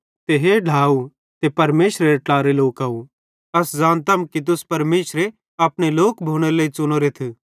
ते हे ढ्लाव ते परमेशरेरे ट्लारे लोकव अस ज़ानतम कि तुस परमेशरे अपने लोक भोनेरे लेइ च़ुनोरेथ